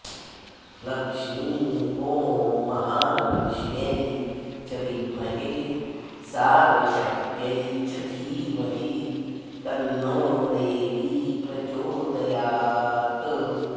लक्ष्मी ॐ महालक्ष्म्यै च विद्महे सार्वशक्त्यै च धीमहि तन्नो देवी प्रचोदयात्